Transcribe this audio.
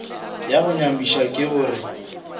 ya go nyamiša ke gore